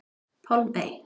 Pálmey